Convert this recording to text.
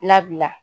Labila